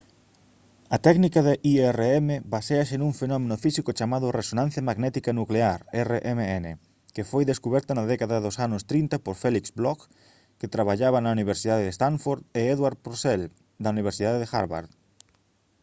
a técnica de irm baséase nun fenómeno físico chamado resonancia magnética nuclear rmn que foi descuberta na década dos anos 30 por felix bloch que traballaba na universidade de stanford e edward purcell da universidade de harvard